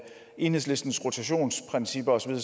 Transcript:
enhedslistens rotationsprincipper og så